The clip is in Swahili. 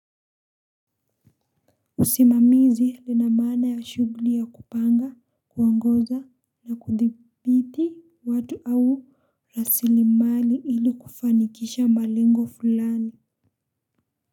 Usimamizi lina maana ya shughuli ya kupanga, kuongoza na kudhibiti watu au rasilimali ili kufanikisha malengo fulani.